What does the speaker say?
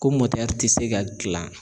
Ko mɔtɛri tɛ se ka gilan